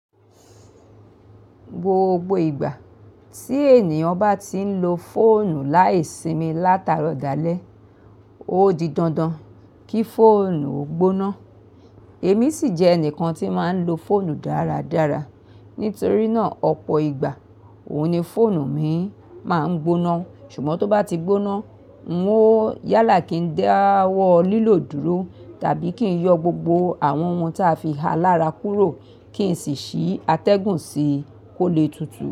Gbogbo ìgbà tí ènìyàn bá ti ń lo fóònù láìsimi láràárò dalé, ó di dandan kí fóònù ó gbóná. Èmi sì jẹ́ ẹnìkan tí máa ń lo fóònù dáradára. Nítorí náà, ọ̀pọ̀ ìgbà òun ni fóònù mi máa ń gbóná. Ṣùgbọ́n tó bá ti gbóná, n ó yálà kí n dáwọ́ lílò dúró tàbí kí n yọ gbogbo àwọn ohun tí a fi há lára kúrò kí n sì ṣí atẹ́gùn sí kó lè tutù.